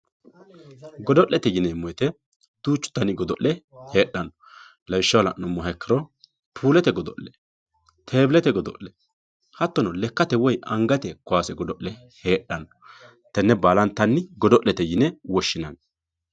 Godo'lete yinemo woyite duchu dani godole hedhano lawishaho lanumoha ikiro pullete godole tebilete godole hatono lekate woyi angate kawose godole hedhano tenne balantanni godolete yine woshinanni